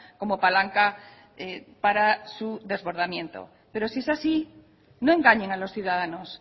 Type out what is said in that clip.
como palanca para su desbordamiento pero si es así no engañen a los ciudadanos